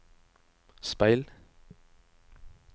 speil